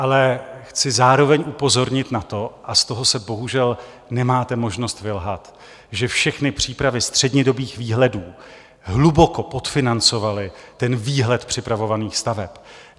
Ale chci zároveň upozornit na to, a z toho se bohužel nemáte možnost vylhat, že všechny přípravy střednědobých výhledů hluboko podfinancovaly ten výhled připravovaných staveb.